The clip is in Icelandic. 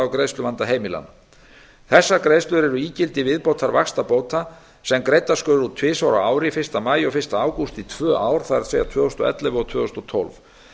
greiðsluvanda heimilanna þessar greiðslur eru ígildi viðbótarvaxtabóta sem greiddar skulu út tvisvar á ári fyrsta maí og fyrsta ágúst í tvö ár það er tvö þúsund og ellefu og tvö þúsund og tólf